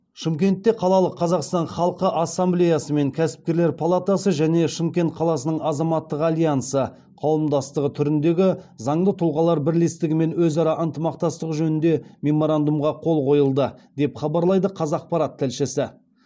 шымкентте қалалық қазақстан халқы ассамблеясы мен кәсіпкерлер палатасы және шымкент қаласының азаматтық альянсы қауымдастығы түріндегізаңды тұлғалар бірлестігімен өзара ынтымақтастық жөнінде меморандумға қол қойылды деп хабарлайды қазақпарат тілшісі